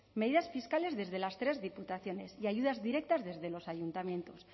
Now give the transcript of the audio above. medidas fiscales desde las tres diputaciones y ayudas directas desde los ayuntamientos